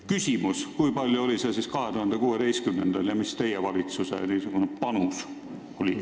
Küsimus: kui suur oli see osakaal 2016. aastal ja mis teie valitsuse panus on olnud?